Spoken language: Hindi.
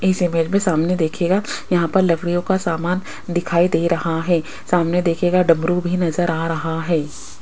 इस इमेज में सामने देखिएगा यहां पर लकड़ियों का सामान दिखाई दे रहा है सामने देखिएगा डमरू भी नज़र आ रहा है।